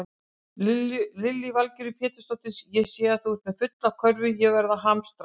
Lillý Valgerður Pétursdóttir: Ég sé að þú ert með fulla körfu, er verið að hamstra?